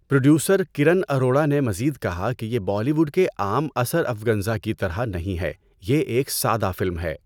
Producer Karan Arora نے مزید کہا کہ یہ 'بالی ووڈ کے عام اسرافگنزا کی طرح نہیں ہے، یہ ایک سادہ فلم ہے'۔